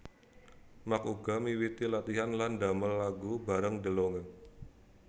Mark uga miwiti latihan lan damel lagu baréng DeLonge